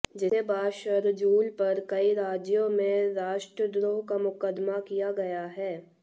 जिसके बाद शरजूल पर कई राज्यों में राष्ट्रद्रोह का मुकदमा किया गया है